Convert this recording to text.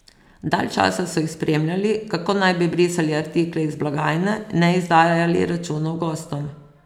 Dalj časa so jih spremljali, kako naj bi brisali artikle iz blagajne, ne izdajali računov gostom...